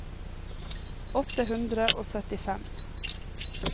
åtte hundre og syttifem